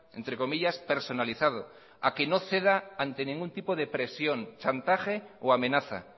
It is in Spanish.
entre comillas personalizado a que no ceda ante ningún tipo de presión chantaje o amenaza